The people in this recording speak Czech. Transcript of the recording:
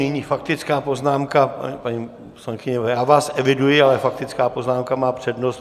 Nyní faktická poznámka... paní poslankyně, já vás eviduji, ale faktická poznámka má přednost.